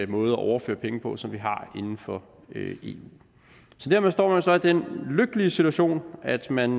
måde at overføre penge på som vi har inden for eu dermed står man så i den lykkelige situation at man